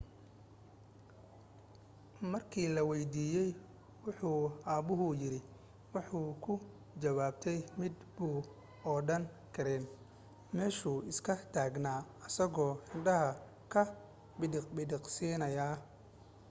markii la waydiiyay wuxu aabuhu yiri waxay ku jawaabtay midh muu odhan karayn meeshu iska taagnaa isagoo indhaha ka bidhiq-bidhiqsiinaya